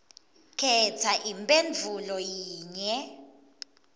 khetsa imphendvulo yinye